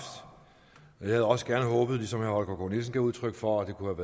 jeg havde også gerne håbet som herre holger k nielsen gav udtryk for at det kunne